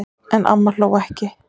En amma hló ekki.